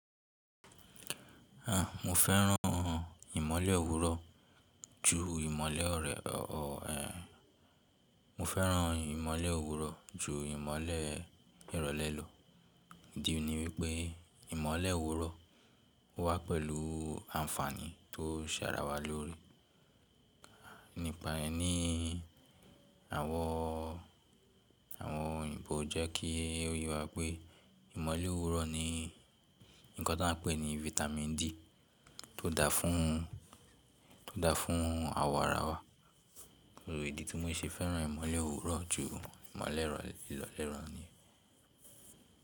À, mo fẹ́ràn ìmọ́lẹ̀ òwúrọ̀ ju ìmọ́lẹ̀ ọ̀rẹ ọ ehn. Mo fẹ́ràn ìmọ́lẹ̀ òwúrọ̀ ju ìmọ́lẹ̀ ìrọ̀lẹ́ lọ. Idí ni wípé ìmọ́lẹ̀ òwúrọ̀ o wà pẹ̀lú àǹfààní tó ń ṣàràwá loóre. Nípa rẹ̀ ni àwọn, àwọn òyìnbó jẹ́ kí o ye wá pé ìmọ́lẹ̀ òwúrọ̀ ni ǹkan taa ń pè ní Vitamin D tó dà fún, tó dà fún àwọ̀ ara wa. Idi tí mo ṣe fẹ́ràn ìmọ́lẹ̀ òwúrọ̀ ju ìmọ́lẹ̀ ìrọ̀lẹ́ lọ niyen.